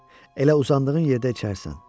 Elə uzandığın yerdə içərsən.